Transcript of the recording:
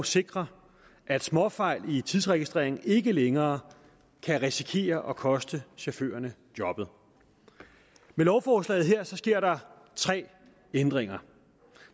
sikrer at småfejl i tidsregistreringen ikke længere kan risikere at koste chaufførerne jobbet med lovforslaget her sker der tre ændringer